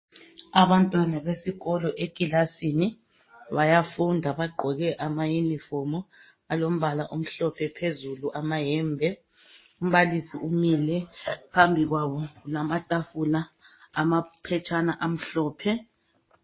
Abantwana besikolo ekilasini bayafunda bagqoke amayunifomu alombala omhlophe phezulu amayembe. umbalisi umile phambi kwabo lamatafula amaphetshana amhlophe